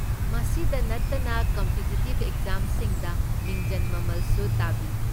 ꯃꯁꯤꯗ ꯅꯠꯇꯅ, ꯀꯝꯄꯤꯇꯤꯇꯤꯕ ꯑꯦꯛꯖꯥꯝꯁꯤꯡꯗ ꯃꯤꯡꯖꯟ ꯃꯃꯜꯁꯨ ꯇꯥꯕꯤ꯫